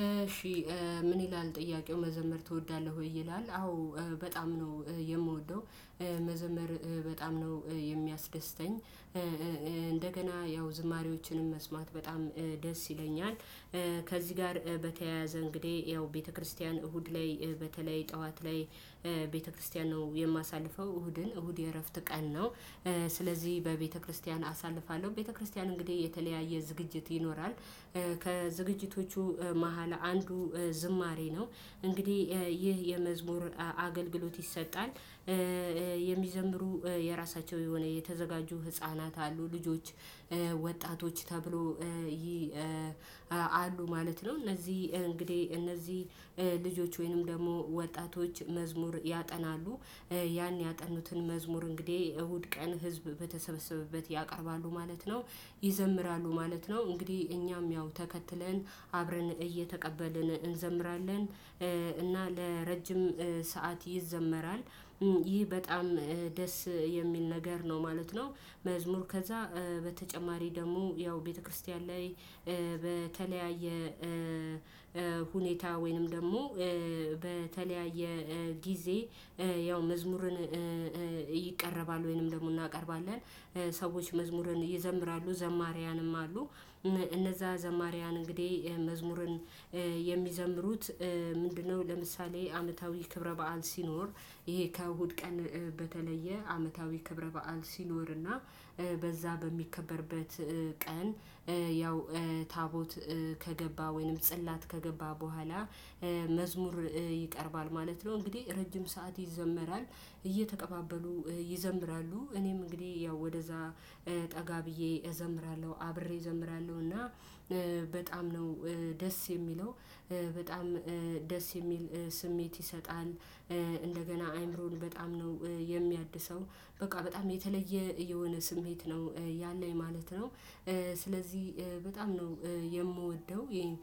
እሺ ምን ይላል ጥያቄው መዘመር ትወዳለህ ወይ? ይላል አዎ በጣም ነው የምወደው መዘመር በጣም ነው የሚያስደስተኝ። እንደገና ያው ዝማሬዎችንም መስማት በጣም ደስ ይለኛል። ከዚህ ጋር በተያያዘ እንግዲህ ያው ቤተክርስቲያን እሁድ ላይ በተለይ ጠዋት ላይ ቤተክርስቲያን ነው የማሳልፈው እሁድን እሁድ የእረፍት ቀን ነው። ስለዚህ በቤተክርስቲያን አሳልፋለሁ ቤተክርስቲያን እንግዲህ የተለያየ ዝግጅት ይኖራል። ከዝግጅቶቹ መሃል አንዱ ዝማሬ ነው። እንግዲህ ይህ የመዝሙር አገልግሎት ይሰጣል። የሚዘምሩ የራሳቸው የሆነ የተዘጋጁ ህፃናት አሉ ልጆች ወጣቶች ተብሎ ይህ አሉ ማለት ነው። እነዚህ እንግዲህ እነዚህ ልጆች ወይንም ደግሞ ወጣቶች መዝሙር ያጠናሉ። ያን ያጠኑትን መዝሙር እንግዲህ እሁድ ቀን ህዝብ በተሰበሰበበት ያቀርባሉ ማለት ነው። ይዘምራሉ ማለት ነው እንግዲህ እኛም ያው ተከትለን አብረን እየተቀበልን እንዘምራለን። እና ለረጅም ሰዓት ይዘመራል። ይህ በጣም ደስ የሚል ነገር ነው ማለት ነው። መዝሙር ከዛ በተጨማሪ ደግሞ ያው ቤተክርስቲያን ላይ። በተለያየ ሁኔታ ወይንም ደግሞ በተለያየ ጊዜ ያው መዝሙርን ይቀረባል። ወይንም ደግሞ እናቀርባለን ሰዎች መዝሙርን ይዘምራሉ ዘማሪያንም አሉ። እነዛ ዘማሪያን እንግዲህ መዝሙርን የሚዘምሩት ምንድነው? ለምሳሌ አመታዊ ክብረ በዓል ሲኖር ይሄ ከእሁድ ቀን በተለየ አመታዊ ክብረ በዓል ሲኖርና በዛ በሚከበርበት ቀን ያው ታቦት ከገባ ወይንም ጽላት ከገባ በኋላ መዝሙር ይቀርባል ማለት ነው። እንግዲህ ረጅም ሰዓት ይዘመራል። እየተቀባበሉ ይዘምራሉ እኔም እንግዲህ ያው ወደዛ ጠጋ ብዬ እዘምራለሁ አብሬ እዘምራለሁ እና በጣም ነው ደስ የሚለው። በጣም ደስ የሚል ስሜት ይሰጣል። እንደገና አይምሮን በጣም ነው የሚያድሰው በቃ በጣም የተለየ የሆነ ስሜት ነው ያለኝ ማለት ነው። ስለዚህ በጣም ነው የምወደው ይሄን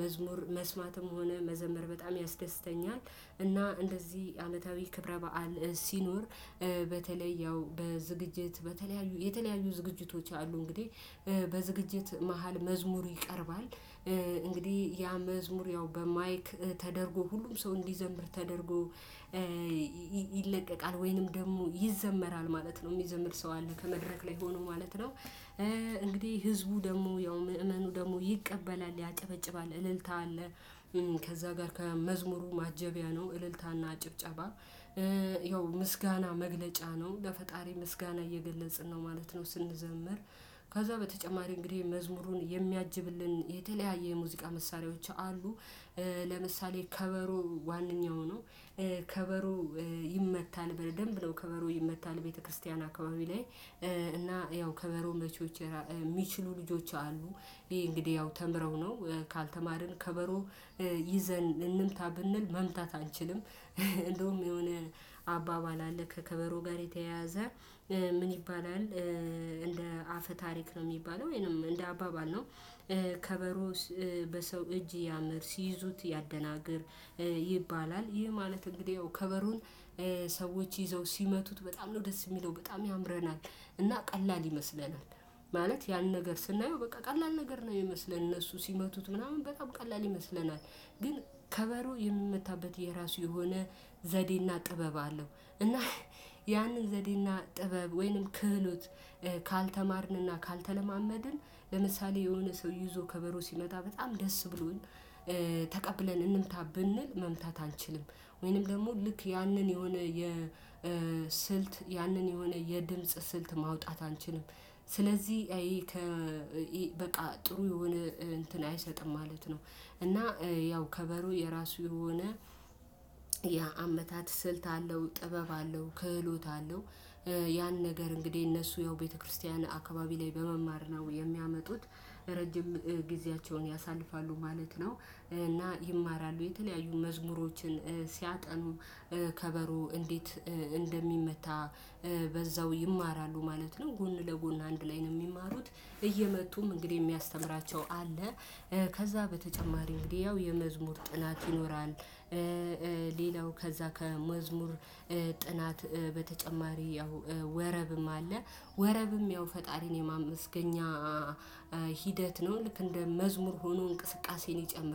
መዝሙር መስማትም ሆነ መዘመር በጣም ያስደስተኛል። እና እንደዚህ አመታዊ ክብረ በዓል ሲኖር በተለይ ያው በዝግጅት በተለያዩ የተለያዩ ዝግጅቶች አሉ እንግዲህ በዝግጅት መሃል መዝሙር ይቀርባል። እንግዲህ ያ መዝሙር ያው በማይክ ተደርጎ ሁሉም ሰው እንዲዘምር ተደርጎ ይለቀቃል ወይንም ደግሞ ይዘመራል ማለት ነው። የሚዘምር ሰው አለ ከመድረክ ላይ ሆኖ ማለት ነው። እንግዲህ ህዝቡ ደግሞ ያው ምእመኑ ደግሞ ይቀበላል ያጨበጭባል እልልታ አለ። ከዛ ጋር ከመዝሙሩ ማጀቢያ ነው እልልታና ጭብጨባ። ያው ምስጋና መግለጫ ነው ለፈጣሪ ምስጋና እየገለጽን ነው ማለት ነው። ስንዘምር ከዛ በተጨማሪ እንግዲህ መዝሙሩን የሚያጅብልን የተለያየ የሙዚቃ መሳሪያዎች አሉ። ለምሳሌ ከበሮ ዋነኛው ነው። ከበሮ ይመታል በደንብ ነው ከበሮ ይመታል ቤተክርስቲያን አካባቢ ላይ። እና ያው ከበሮ መቾች የሚችሉ ልጆች አሉ። ይሄ እንግዲህ ያው ተምረው ነው ካልተማርን ከበሮ ይዘን እንምታ ብንል መምታት አንችልም። እንደውም የሆነ አባባል አለ ከከበሮ ጋር የተያያዘ ምን ይባላል? እንደ አፈ ታሪክ ነው የሚባለው ወይንም እንደ አባባል ነው። ከበሮ በሰው እጅ ያምር ሲይዙት ያደናግር ይባላል። ይህ ማለት እንግዲህ ያው ከበሮን ሰዎች ይዘው ሲመቱት በጣም ነው ደስ የሚለው በጣም ያምረናል። እና ቀላል ይመስለናል። ማለት ያን ነገር ስናየው በቃ ቀላል ነገር ነው የሚመስለን እነሱ ሲመቱት ምናምን በጣም ቀላል ይመስለናል። ግን ከበሮ የምመታበት የራሱ የሆነ ዘዴና ጥበብ አለው። እና ያንን ዘዴና ጥበብ ወይንም ክህሎት ካልተማርንና ካልተለማመድን ለምሳሌ የሆነ ሰው ይዞ ከበሮ ሲመታ በጣም ደስ ብሎን። ተቀብለን እንምታ ብንል መምታት አንችልም። ወይንም ደግሞ ልክ ያንን የሆነ የስልት ያንን የሆነ የድምጽ ስልት ማውጣት አንችልም። ስለዚህ ይሄ በቃ ጥሩ የሆነ እንትን አይሰጥም ማለት ነው። እና ያው ከበሮ የራሱ የሆነ የአመታት አመታት ስልት አለው ጥበብ አለው ክህሎት አለው። ያን ነገር እንግዲህ እነሱ ያው ቤተክርስቲያን አካባቢ ላይ በመማር ነው የሚያመጡት ለረጅም ጊዜያቸውን ያሳልፋሉ ማለት ነው። እና ይማራሉ የተለያዩ መዝሙሮችን ሲያጠኑ ከበሮ እንዴት እንደሚመታ በዛው ይማራሉ ማለት ነው። ጎን ለጎን አንድ ላይ ነው የሚማሩት እየመቱም እንግዲህ የሚያስተምራቸው አለ። ከዛ በተጨማሪ እንግዲህ ያው የመዝሙር ጥናት ይኖራል። ሌላው ከዛ ከመዝሙር ጥናት በተጨማሪ ያው ወረብም አለ። ወረብም ያው ፈጣሪን የማመስገኛ ሂደት ነው ልክ እንደ መዝሙር ሆኖ እንቅስቃሴን ይጨምራል